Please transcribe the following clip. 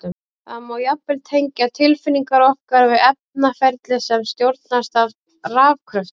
Það má jafnvel tengja tilfinningar okkar við efnaferli sem stjórnast af rafkröftum!